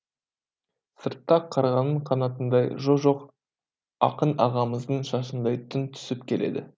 сыртта қарғаның қанатындай жо жоқ ақын ағамыздың шашындай түн түсіп келеді